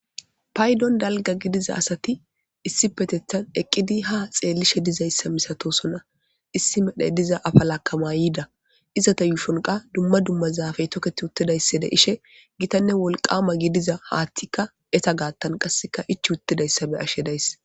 Paydon dalga gidiza asati issi petethan eqqidi ha xeellishe dizayssa misatosona issi medhe diza afa lakama yiida izata yuufonqa dumma dumma zaafey tokethi uttidayssa de ishe gitanne wolqama gidiza haathtikka eta gaattan qasseka ich uttidayssabe ashe dayssa.